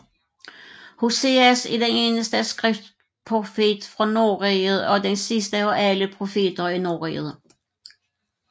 Hoseas er den eneste skriftprofet fra Nordriget og den sidste af alle profeter i Nordriget